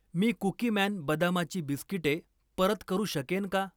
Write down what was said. मी Cookieman बदामाची बिस्किटे परत करू शकेन का?